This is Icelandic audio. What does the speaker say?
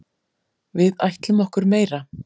Við ætlum okkur meira.